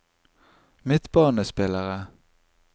midtbanespillere